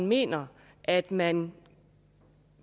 mener at man